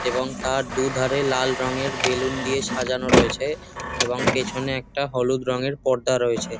এবং তার দুধারে লাল রঙের বেলুন দিয়ে সাজানো রয়েছে এবং পেছনে একটা হলুদ রঙের পর্দা রয়েছে।